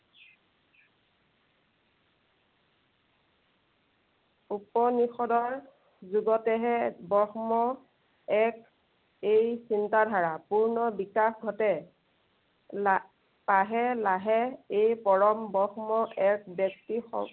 উপনিষদৰ যুগতেহে ব্ৰহ্ম এক, এই চিন্তাধাৰা পূৰ্ণ বিকাশ ঘটে। লা~লাহে লাহে এই পৰম ব্ৰহ্ম এক ব্য়ক্তি